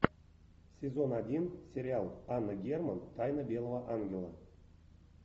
сезон один сериал анна герман тайна белого ангела